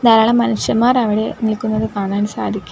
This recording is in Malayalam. ധാരാളം മനുഷ്യന്മാർ അവിടെ നിക്കുന്നത് കാണാൻ സാധിക്കും.